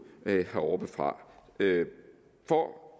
heroppefra